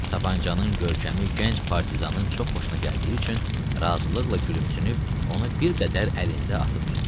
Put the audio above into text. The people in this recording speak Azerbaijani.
Tapançanın görkəmi gənc partizanın çox xoşuna gəldiyi üçün razılıqla gülümsünüb, onu bir qədər əlində atıb tutdu.